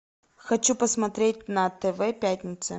хочу посмотреть на тв пятница